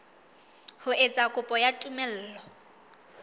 ho etsa kopo ya tumello